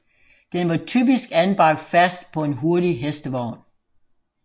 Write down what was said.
Den var typisk anbragt fast på en hurtig hestevogn